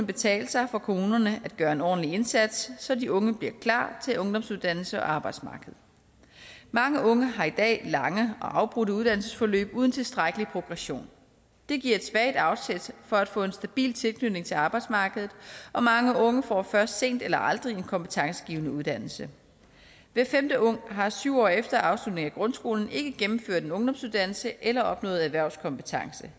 betale sig for kommunerne at gøre en ordentlig indsats så de unge bliver klar til ungdomsuddannelser og arbejdsmarked mange unge har i dag lange og afbrudte uddannelsesforløb uden tilstrækkelig progression det giver et svagt afsæt for at få en stabil tilknytning til arbejdsmarkedet og mange unge får først sent eller aldrig en kompetencegivende uddannelse hver femte ung har syv år efter afslutning af grundskolen ikke gennemført en ungdomsuddannelse eller opnået erhvervskompetence